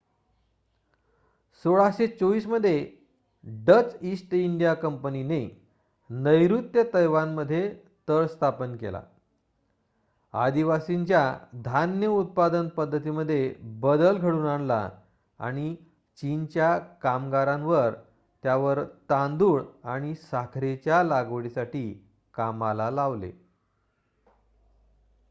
१६२४ मध्ये Dutch East India कंपनीने नैर्ऋत्य तैवानमध्ये तळ स्थापन केला आदिवासींच्या धान्य उत्पादन पद्धतीमध्ये बदल घडवून आणला आणि चीनच्या कामगारांना त्यावर तांदुळ आणि साखरेच्या लागवडीसाठी कामाला लावले